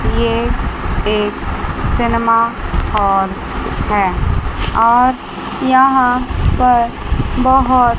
ये एक cinema hall है और यहां पर बहोत--